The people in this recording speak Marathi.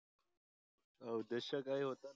आह उद्देश काय होता